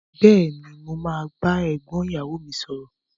Béèni, mo ma ba égbón ìyàwo mi sòrò